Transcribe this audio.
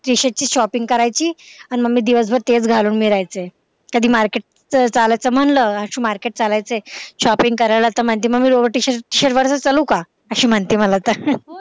ची shopping करायची आणि दिवसभर मी तेच घालून मिरायचंय कधी market चालायचं म्हंटल आशू market चालायचंय shopping करायला तर म्हणती मम्मी lowert shirt वरच चलू का? अशी म्हणते मला तर